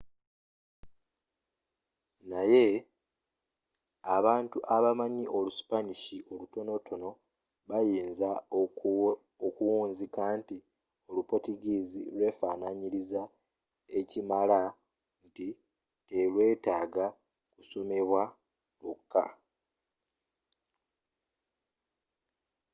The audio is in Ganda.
naye abantu abamanyi olu spanish olutonotono bayinzi okuwunzika nti olu portuguese lwefananyiriza ekimala nti telwetaaga kusomebwa lwokka